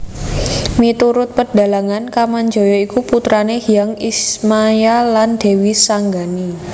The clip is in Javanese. Miturut pedhalangan Kamajaya iku putrané Hyang Ismaya lan Dèwi Sanggani